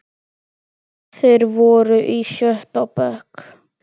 Þeir voru í sjötta bekk.